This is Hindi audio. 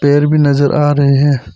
पेड़ भी नजर आ रहे है।